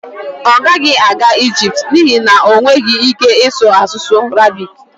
ọ gaghị aga Ijipt n'ihi na ọ nweghị ike ịsụ asụsụ Arabik